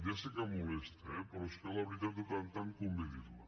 ja sé que molesta eh però és que la veritat de tant en tant convé dir la